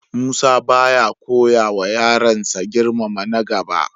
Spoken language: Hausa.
Musa ba ya koyawa yaransa girmama na gaba.